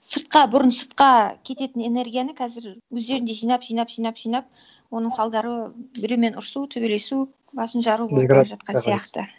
сыртқа бұрын сыртқа кететін энергияны қазір өздерінде жинап жинап жинап жинап оның салдары біреумен ұрысу төбелесу басын жару сияқты